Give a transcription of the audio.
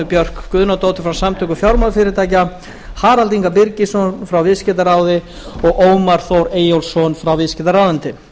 björk guðnadóttur frá samtökum fjármálafyrirtækja harald inga birgisson frá viðskiptaráði og ómar þór eyjólfsson frá viðskiptaráðuneyti